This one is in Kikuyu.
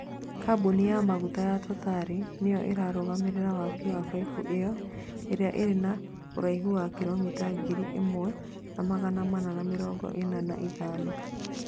kambũni ya maguta ya Totari nĩyo ĩrarũgamĩrĩra waki wa baibũ ĩyo, ĩria ĩrĩ na ũraihũ wa kiromita ngiri ĩmwe na magana mana ma mĩrongo ĩna na ithano